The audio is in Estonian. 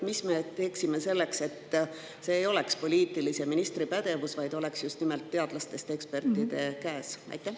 Mis me teeme selleks, et see ei oleks poliitilise ministri pädevus, vaid oleks just nimelt teadlastest ekspertide käes?